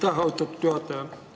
Aitäh, austatud juhataja!